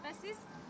Bəs siz?